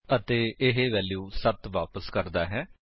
ਅਤੇ ਇਹ ਵੈਲਿਊ 7 ਵਾਪਸ ਕਰਦਾ ਹੈ